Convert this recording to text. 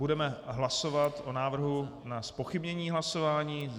Budeme hlasovat o návrhu na zpochybnění hlasování.